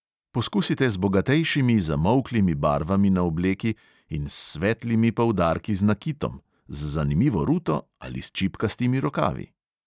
Poskusite z bogatejšimi zamolklimi barvami na obleki in s svetlimi poudarki z nakitom, z zanimivo ruto ali s čipkastimi rokavi.